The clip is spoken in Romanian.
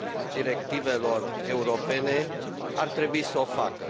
directivelor europene ar trebui să o facă.